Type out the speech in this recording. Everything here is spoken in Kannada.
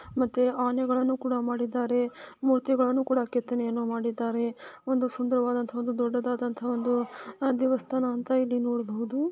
ಮತ್ತೆ ಆನೆಗಳನ್ನು ಕೂಡ ಮಾಡಿದ್ದಾರೆ ಮೂರ್ತಿಗಳನ್ನು ಕೆತ್ತನೆಯನ್ನು ಮಾಡಿದ್ದಾರೆ ಒಂದು ಸುಂದರವಾದಂತಹ ಒಂದು ದೊಡ್ಡದಾದಂತಹ ಒಂದು ಆಹ್ ದೇವಸ್ಥಾನ ಅಂತ ಇಲ್ಲಿ ನೋಡಬೋದು.